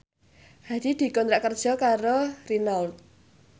Hadi dikontrak kerja karo Renault